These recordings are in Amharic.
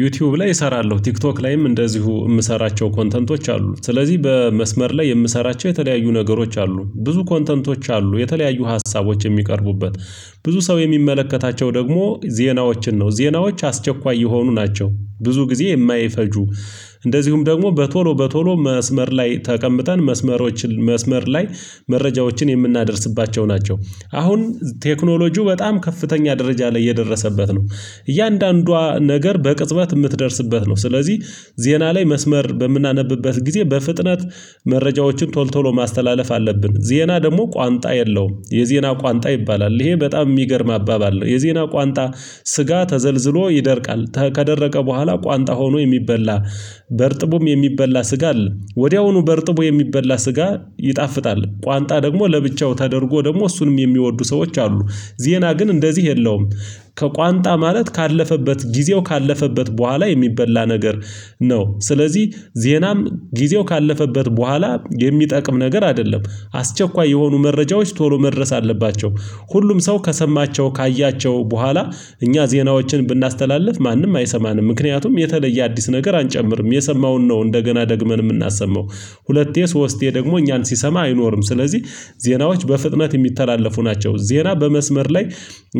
ዩቲዩብ ላይ እሰራለሁ ቲክቶክ ላይም እንደዚሁ የምሰራቸው ኮንተንቶች አሉ። ስለዚህ በመስመር ላይ የምሰራቸው የተለያዩ ነገሮች አሉ ብዙ ኮንተንቶች አሉ የተለያዩ ሀሳቦች የሚቀርቡበት። ብዙ ሰው የሚመለከታቸው ደግሞ ዜናዎችን ነው ዜናዎች አስቸኳይ የሆኑ ናቸው። ብዙ ጊዜ የማይፈጁ። እንደዚሁም ደግሞ በቶሎ በቶሎ መስመር ላይ ተቀምጠን መስመሮችን መስመር ላይ መረጃዎችን የምናደርስባቸው ናቸው። አሁን ቴክኖሎጂው በጣም ከፍተኛ ደረጃ ላይ የደረሰበት ነው። እያንዳንዷ ነገር በቅጽበት የምትደርስበት ነው። ስለዚህ ዜና ላይ መስመር በምናነብበት ጊዜ በፍጥነት መረጃዎችን ቶል ቶሎ ማስተላለፍ አለብን። ዜና ደግሞ ቋንጣ የለውም የዜና ቋንጣ ይባላል። ይሄ በጣም የሚገርም አባባል ነው። የዜና ቋንጣ ስጋ ተዘልዝሎ ይደርቃል። ከደረቀ በኋላ ቋንጣ ሆኖ የሚበላ በእርጥቡም የሚበላ ስጋ አለ። ወዲያውኑ በእርጥቡ የሚበላ ስጋ ይጣፍጣል። ቋንጣ ደግሞ ለብቻው ተደርጎ ደግሞ እሱንም የሚወዱ ሰዎች አሉ። ዜና ግን እንደዚህ የለውም። ከቋንጣ ማለት ካለፈበት ጊዜው ካለፈበት በኋላ የሚበላ ነገር ነው። ስለዚህ ዜናም ጊዜው ካለፈበት በኋላ የሚጠቅም ነገር አይደለም። አስቸኳይ የሆኑ መረጃዎች ቶሎ መድረስ አለባቸው። ሁሉም ሰው ከሰማቸው ካያቸው በኋላ እኛ ዜናዎችን ብናስተላልፍ ማንም አይሰማንም ምክንያቱም የተለየ አዲስ ነገር አንጨምርም የሰማውን ነው እንደገና ደግመን የምናሰማው። ሁለቴ ሶስቴ ደግሞ እኛን ሲሰማ አይኖርም። ስለዚህ ዜናዎች በፍጥነት የሚተላለፉ ናቸው። ዜና በመስመር ላይ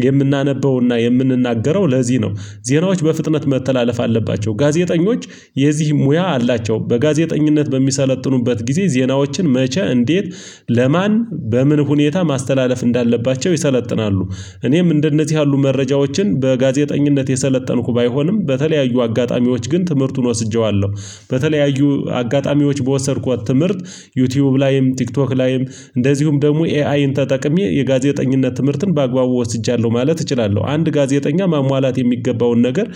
የምናነበውና የምንናገረው ለዚህ ነው። ዜናዎች በፍጥነት መተላለፍ አለባቸው ጋዜጠኞች የዚህ ሙያ አላቸው። በጋዜጠኝነት በሚሰለጥኑበት ጊዜ ዜናዎችን መቼ እንዴት ለማን በምን ሁኔታ ማስተላለፍ እንዳለባቸው ይሰለጥናሉ። እኔም እንደነዚህ ያሉ መረጃዎችን በጋዜጠኝነት የሰለጠንኩ ባይሆንም በተለያዩ አጋጣሚዎች ግን ትምህርቱን ወስጄዋለሁ። በተለያዩ አጋጣሚዎች በወሰድኳት ትምህርት። ዩቲዩብ ላይም ቲክቶክ ላይም እንደዚሁም ደግሞ ኤአይን ተጠቅሜ የጋዜጠኝነት ትምህርትን በአግባቡ ወስጃለሁ ማለት እችላለሁ። አንድ ጋዜጠኛ ማሟላት የሚገባውን ነገር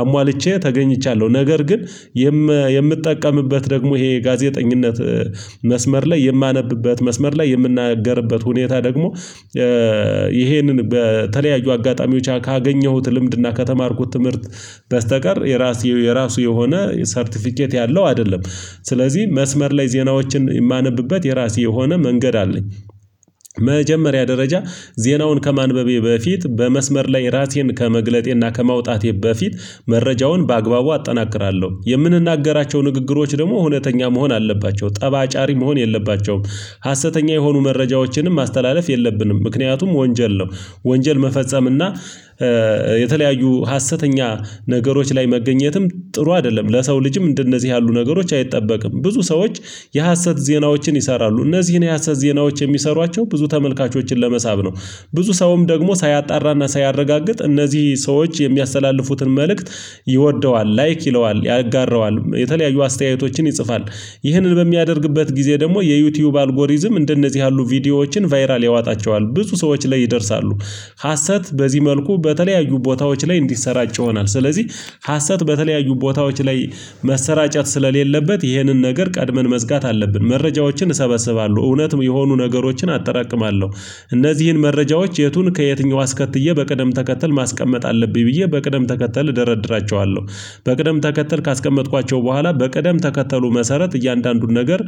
አሟልቼ ተገኝቻለሁ። ነገር ግን የምጠቀምበት ደግሞ ይሄ ጋዜጠኝነት መስመር ላይ የማነብበት መስመር ላይ የምናገርበት ሁኔታ ደግሞ ይሄንን በተለያዩ አጋጣሚዎች ካገኘሁት ልምድና ከተማርኩት ትምህርት በስተቀር የራሱ የራሱ የሆነ ሰርተፊኬት ያለው አይደለም። ስለዚህ መስመር ላይ ዜናዎችን የማነብበት የራሴ የሆነ መንገድ አለኝ። መጀመሪያ ደረጃ ዜናውን ከማንበቤ በፊት በመስመር ላይ ራሴን ከመግለጤና ከማውጣቴ በፊት መረጃውን በአግባቡ አጠናክራለሁ። የምንናገራቸው ንግግሮች ደግሞ እውነተኛ መሆን አለባቸው ጠባጫሪ መሆን የለባቸውም። ሀሰተኛ የሆኑ መረጃዎችንም ማስተላለፍ የለብንም ምክንያቱም ወንጀል ነው። ወንጀል መፈጸም እና የተለያዩ ሀሰተኛ ነገሮች ላይ መገኘትም ጥሩ አይደለም። ለሰው ልጅም እንደነዚህ ያሉ ነገሮች አይጠበቅም። ብዙ ሰዎች የሀሰት ዜናዎችን ይሰራሉ እነዚህን የሀሰት ዜናዎች የሚሰሯቸው ብዙ ተመልካቾችን ለመሳብ ነው። ብዙ ሰውም ደግሞ ሳያጣራና ሳያረጋግጥ እነዚህ ሰዎች የሚያስተላልፉትን መልእክት ይወደዋል ላይክ ይለዋል ያጋረዋል የተለያዩ አስተያየቶችን ይጽፋል። ይህንን በሚያደርግበት ጊዜ ደግሞ የዩቲዩብ አልጎሪዝም እንደነዚህ ያሉ ቪዲዮዎችን ቫይራል ያዋጣቸዋል ብዙ ሰዎች ላይ ይደርሳሉ። ሀሰት በዚህ መልኩ በተለያዩ ቦታዎች ላይ እንዲሰራጭ ይሆናል። ስለዚህ ሀሰት በተለያዩ ቦታዎች ላይ መሰራጨት ስለሌለበት ይህንን ነገር ቀድመን መዝጋት አለብን። መረጃዎችን እሰበስባለሁ እውነት የሆኑ ነገሮችን አጠራቅማለሁ። እነዚህን መረጃዎች የቱን ከየትኛው አስከትዬ በቅደም ተከትል ማስቀመጥ አለብኝ ብዬ በቅደም ተከትለህ እደረድራቸዋለሁ። በቅደም ተከተል ካስቀመጥኳቸው በኋላ በቅደም ተከተሉ መሰረት እያንዳንዱን ነገር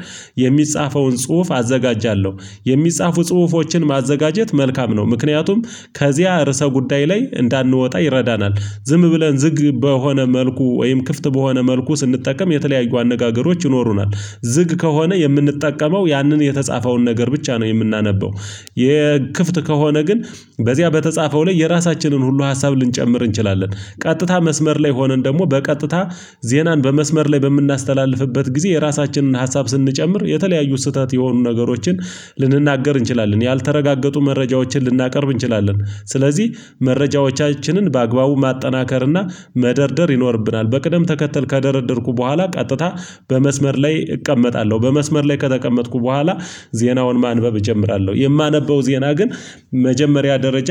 የሚጻፈውን ጽሁፍ አዘጋጃለሁ። የሚጻፉ ጽሁፎችን ማዘጋጀት መልካም ነው። ምክንያቱም ከዚያ እርሰ ጉዳይ ላይ እንዳንወጣ ይረዳናል። ዝም ብለን ዝግ በሆነ መልኩ ወይም ክፍት በሆነ መልኩ ስንጠቀም የተለያዩ አነጋገሮች ይኖሩናል። ዝግ ከሆነ የምንጠቀመው ያንን የተጻፈውን ነገር ብቻ ነው የምናነበው። የክፍት ከሆነ ግን በዚያ በተጻፈው ላይ የራሳችንን ሁሉ ሀሳብ ልንጨምር እንችላለን። ቀጥታ መስመር ላይ ሆነን ደግሞ በቀጥታ ዜናን በመስመር ላይ በምናስተላልፍበት ጊዜ የራሳችንን ሀሳብ ስንጨምር የተለያዩ ስህተት የሆኑ ነገሮችን ልንናገር እንችላለን ያልተረጋገጡ መረጃዎችን ልናቀርብ እንችላለን። ስለዚህ መረጃዎቻችንን በአግባቡ ማጠናከርና መደርደር ይኖርብናል። በቅደም ተከተል ከደረደርኩ በኋላ ቀጥታ በመስመር ላይ እቀመጣለሁ። በመስመር ላይ ከተቀመጥኩ በኋላ ዜናውን ማንበብ እጀምራለሁ። የማነበው ዜና ግን መጀመሪያ ደረጃ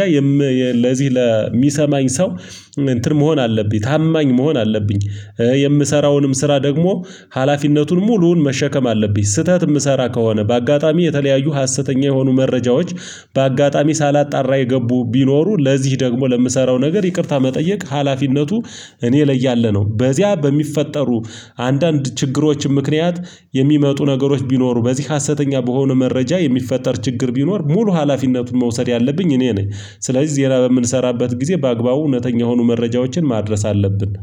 ለዚህ ለሚሰማኝ ሰው እንትን መሆን አለብኝ ታማኝ መሆን አለብኝ። የምሰራውንም ስራ ደግሞ ሀላፊነቱን ሙሉውን መሸከም አለብኝ። ስህተት የምሰራ ከሆነ በአጋጣሚ የተለያዩ ሀሰተኛ የሆኑ መረጃዎች በአጋጣሚ ሳላጣራ የገቡ ቢኖሩ ለዚህ ደግሞ ለምሰራው ነገር ይቅርታ መጠየቅ ሀላፊነቱ። እኔ ላይ ያለ ያለነው በዚያ በሚፈጠሩ አንዳንድ ችግሮችም ምክንያት የሚመጡ ነገሮች ቢኖሩ በዚህ ሀሰተኛ በሆነ መረጃ የሚፈጠር ችግር ቢኖር ሙሉ ሀላፊነቱን መውሰድ ያለብኝ እኔ ነኝ። ስለዚህ ዜና በምንሰራበት ጊዜ በአግባቡ እውነተኛ የሆኑ መረጃዎችን ማድረስ አለብን